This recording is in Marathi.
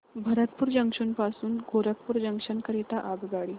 भरतपुर जंक्शन पासून गोरखपुर जंक्शन करीता आगगाडी